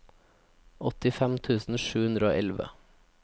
åttifem tusen sju hundre og elleve